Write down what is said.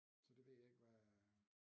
Så det ved jeg ikke hvad